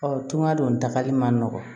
Ɔ tunga don tagali man nɔgɔn